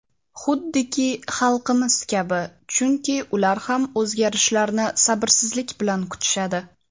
xuddiki xalqimiz kabi chunki ular ham o‘zgarishlarni sabrsizlik bilan kutishadi.